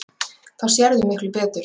Þá sérðu miklu betur.